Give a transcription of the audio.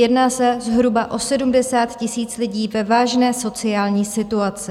Jedná se zhruba o 70 000 lidí ve vážné sociální situaci.